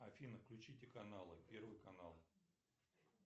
афина включите каналы первый канал